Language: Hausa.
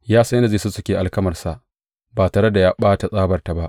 Ya san yadda zai sussuke alkamarsa, ba tare da ya ɓata tsabarta ba.